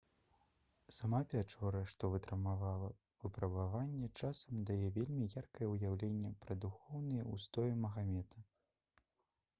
сама пячора што вытрымала выпрабаванне часам дае вельмі яркае ўяўленне пра духоўныя ўстоі магамета